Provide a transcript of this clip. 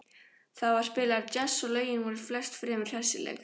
Þar var spilaður djass og lögin voru flest fremur hressileg.